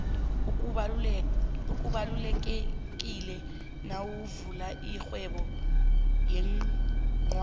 okubalulekileko nawuvula irhwebo yioncwadi